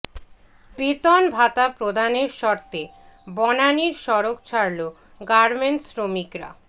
বেতন ভাতা প্রদানের শর্তে বনানীর সড়ক ছাড়ল গার্মেন্টস শ্রমিকরা